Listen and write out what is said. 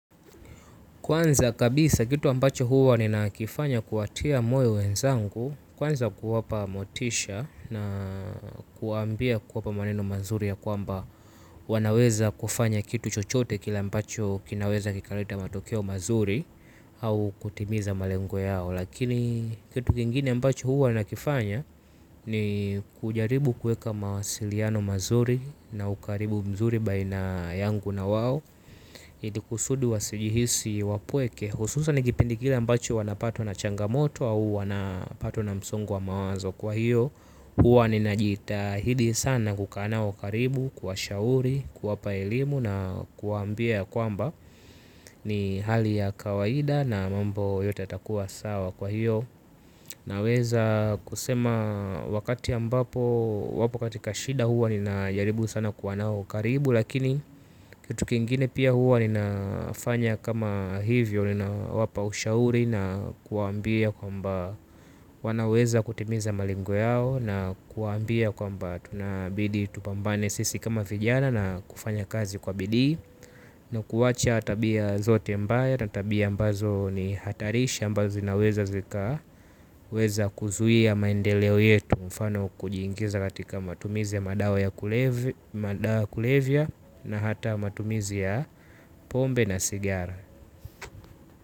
Kwanza kabisa kitu ambacho huwa ninakifanya kuwatia moyo wenzangu. Kwanza kuwapa motisha na kuambia kuwapa maneno mazuri ya kwamba wanaweza kufanya kitu chochote kile ambacho kinaweza kikaleta matokeo mazuri. Au kutimiza malengo yao. Lakini kitu kingine ambacho huwa ninakifanya ni kujaribu kueka mawasiliano mazuri. Na ukaribu mzuri baina yangu na wao hidi kusudi wasijihisi wapweke. Hususan ni kipindi kile ambacho wanapatwa na changamoto. Au wanapatwa na msongo wa mawazo kwa hiyo. Huwa ninajitahidi sana kukanao karibu kuwashauri, kuwapa elimu na kuambia ya kwamba ni hali ya kawaida na mambo yote yatakuwa sawa kwa hiyo. Naweza kusema wakati ambapo wapo katika shida huwa ni najaribu sana kuwa nao karibu. Lakini kitu kingine pia huwa ninafanya kama hivyo ninawapa ushauri na kuambia kwamba wanaweza kutimiza malengo yao. Na kuambia kwamba tunabidi tupambane sisi kama vijana na kufanya kazi kwa bidhi. Na kuwacha tabia zote mbaya na tabia ambazo ni hatarisha ambazo zinaweza zika weza kuzuiya maendeleo yetu kwa mfano kujingiza katika matumizi ya madawa ya kulevia na hata matumizi ya pombe na sigara.